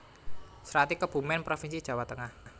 Srati Kebumen provinsi Jawa Tengah